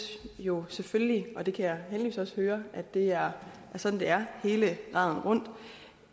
jo selvfølgelig og jeg kan heldigvis også høre at det er sådan det er hele raden rundt